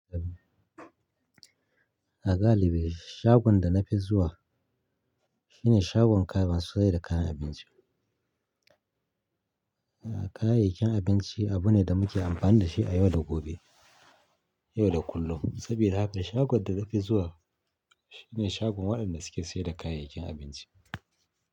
A galibi shagon da na fi zuwa shine shagon kayan sayar da kayan abinci. A'a, kayayyakin abinci abu ne da muke amfani da shi a yau da gobe, yau da kullum. Saboda haka shagon da na fi zuwa shine shagon waɗanda suke sayar da kayayyakin abinci.